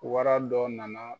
Wara dɔ nana